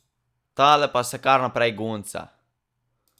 Tale pa se kar naprej gunca.